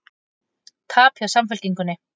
Tap hjá Samfylkingunni